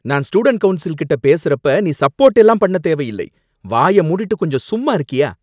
நான் ஸ்டூடண்ட் கவுன்ஸில்கிட்ட பேசுறப்ப நீ சப்போர்ட் எல்லாம் பண்ணத் தேவையில்லை, வாய மூடிட்டு கொஞ்சம் சும்மா இருக்கியா!